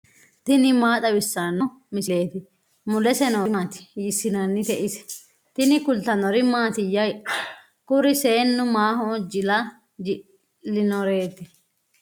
tini maa xawissanno misileeti ? mulese noori maati ? hiissinannite ise ? tini kultannori mattiya? Kuri seennu maho jilla ji'linoreetti?